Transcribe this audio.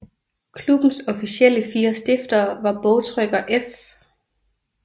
Klubbens officielle fire stiftere var bogtrykker F